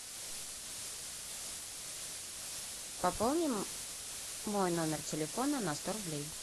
пополни мой номер телефона на сто рублей